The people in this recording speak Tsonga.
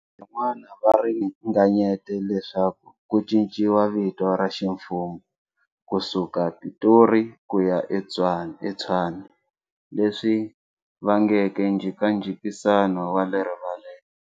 Van'wana va ringanyete leswaku ku cinciwa vito ra ximfumo ku suka Pitori ku ya eTshwane, leswi vangeke njikanjikisano wale rivaleni.